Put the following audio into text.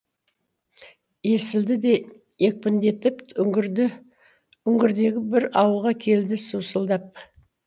есілді де екпіндетіп үңгірдегі бір ауылға келді саусылдап